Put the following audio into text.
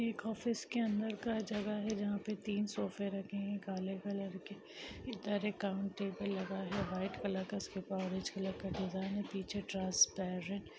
--एक ऑफिस के अंदर का जगह है जहाँ पे तीन सोफे रखे है काले कलर के इधर एक काउंटेबल लगा है व्हाइट कलर का इसके ऊपर ऑरेंज कलर का डिज़ाइन पीछे ट्रांसपेरेंट --